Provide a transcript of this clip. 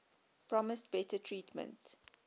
promised better treatment